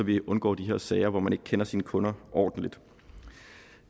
vi undgår de her sager hvor man ikke kender sine kunder ordentligt